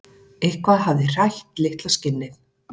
Eitthvað hafði hrætt litla skinnið.